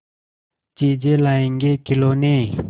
चीजें लाएँगेखिलौने